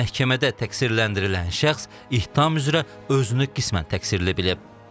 Məhkəmədə təqsirləndirilən şəxs ittiham üzrə özünü qismən təqsirli bilib.